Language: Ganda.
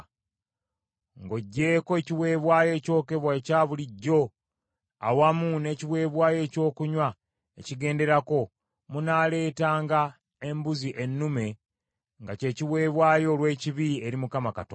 Ng’oggyeko ekiweebwayo ekyokebwa ekya bulijjo awamu n’ekiweebwayo ekyokunywa ekigenderako, munaaleetanga embuzi ennume nga kye kiweebwayo olw’ekibi eri Mukama Katonda.